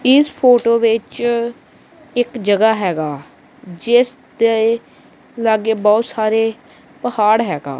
ਇਸ ਫੋਟੋ ਵਿੱਚ ਇੱਕ ਜਗ੍ਹਾ ਹੈਗਾ ਜਿਸ ਤੇ ਲਾਗੇ ਬਹੁਤ ਸਾਰੇ ਪਹਾੜ ਹੈਗਾ।